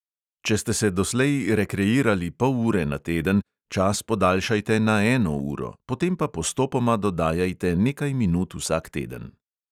Če ste se doslej rekreirali pol ure na teden, čas podaljšajte na eno uro, potem pa postopoma dodajajte nekaj minut vsak teden.